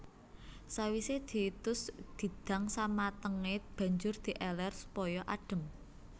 Sawisé ditus didang samatengé banjur di elèr supaya adhem